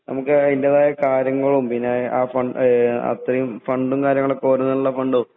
നമുക്ക് അതിന്റേതായ കാര്യങ്ങളും പിന്നെ ആ ഫ ഏഹ് അത്രയും ഫണ്ടും കാര്യങ്ങളുമൊക്കെ ഓരോന്നിനുള്ള ഫണ്ടും